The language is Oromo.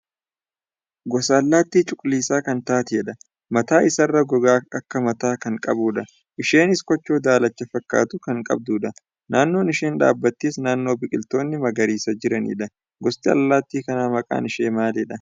Gosa allaattii cuquliisa kan taatedha. Mataa isaarraa gogaa akka mataa kan qabudha. Isheenis koochoo daalacha fakkaatu kan qabdudha. Naannoon isheen dhaabattes naannoo biqiltoonni magariisa jiranidha. Gosti allaattii kanaa maqaan ishee maalidha?